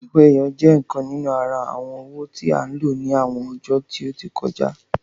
Owó ẹyọ je ìkan nínú àrà awọn owó tí a n ló ní àwọn ọjó tí o tí kọjá